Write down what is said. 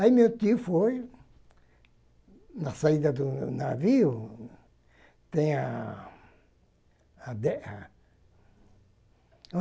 Aí meu tio foi, na saída do navio, tem a a a.